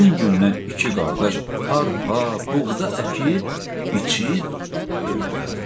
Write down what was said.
Həmin gündən iki qardaş arpa, buğda əkib, biçib, döydülər.